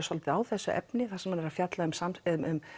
svolítið á þessu efni þar sem hann er að fjalla um um